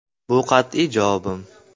[Bu qat’iy javobim.